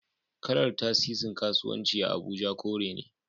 Kalar Tasisin kasuwanci a Abuja kore ne